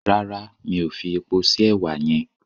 Rárá mi ò fi epo sí èwà yẹn.